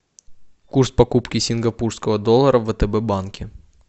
курс покупки сингапурского доллара в втб банке